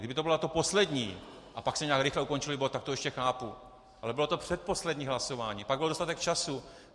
Kdyby to bylo to poslední a pak se nějak rychle ukončil bod, tak to ještě chápu, ale bylo to předposlední hlasování, pak bylo dostatek času.